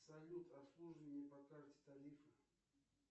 салют обслуживание по карте тарифы